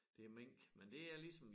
Det mink men det er ligesom